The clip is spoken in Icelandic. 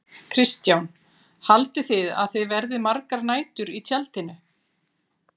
Kristján: Haldið þið að þið verðið margar nætur í tjaldinu?